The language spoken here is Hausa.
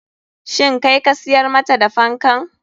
Shin kai ka siyar mata da fankan?